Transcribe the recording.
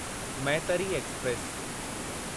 Maitri express